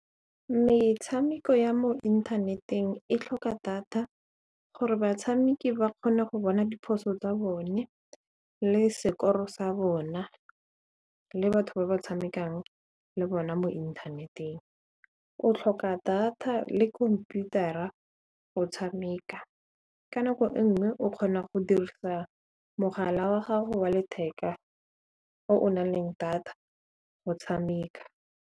Metshameko ya mo inthaneteng e tlhoka data gore batshameki ba kgone go bona diphoso tsa bone le sekoro sa bona le batho ba ba tshamekang le bona mo inthaneteng. O tlhoka data le khomputara go tshameka, ka nako e nngwe o kgona go dirisa mogala wa gago wa letheka o na leng data go tshameka.